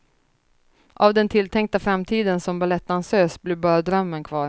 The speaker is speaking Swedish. Av den tilltänkta framtiden som balettdansös blev bara drömmen kvar.